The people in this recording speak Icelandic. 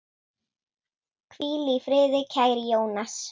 Hvíl í friði, kæri Jónas.